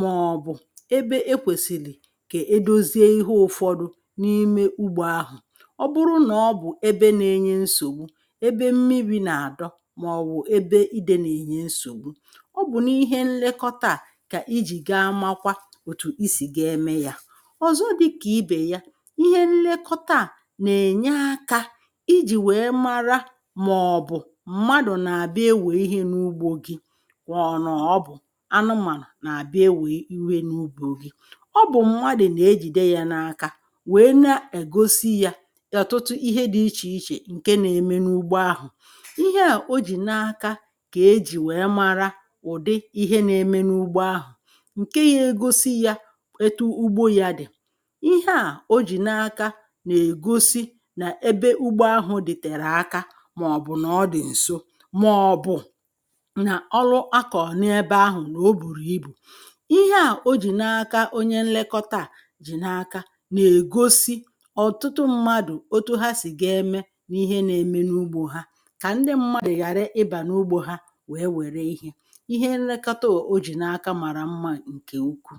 màọbụ̀ ebe ekwèsìlì kà edoziè ihe ụfọdụ n’ime ugbȯ ahụ̀ ọ bụrụ nà ọ bụ̀ ebe nȧ-ėnyė nsògbu ebe mmi̇bi̇ nà-àdọ màọbụ̀ ebe idė nà-ènye nsògbu ọ bụ̀ n’ihe nlekọta à kà ijì ga amakwa ọ̀zọ dịkà ibè ya ihe nlekọta à nà-ènye akȧ ijì wèe mara màọ̀bụ̀ mmadụ̀ nà àbịa enwè ihe n’ugbȯ gi kwà ọ̀ nọ̀ bụ̀ anụmànà nà àbịa enwè iwe n’ugbȯ gi ọ bụ̀ mmadụ̀ nà ejìde yȧ n’aka wèe na-egosi yȧ ọ̀tụtụ ihe dị̇ ichè ichè ǹke na-eme n’ugbo ahụ̀ ihe à o jì na-aka kà ejì wèe mara ụ̀dị ihe na-eme n’ugbo ahụ̀ etu ugbo yȧ dị̀ ihe à ojì n’aka nà-ègosi nà ebe ugbo ahụ̇ dị̀tèrè aka màọ̀bụ̀ nà ọ dị̀ ǹso màọ̀bụ̀ nà ọrụ akọ̀ n’ebe ahụ̀ nà o bùrù ibù ihe à o jì n’aka onye nlekọta à jì n’aka nà-ègosi ọ̀tụtụ mmadụ̀ otu ha sì ga-eme n’ihe na-eme n’ugbȯ ha kà ndị mmadụ̀ ghàra ịbà n’ugbȯ ha wèe wère ihe ihe nlekọta à o jì n’aka màrà mmȧ ǹkè ukwu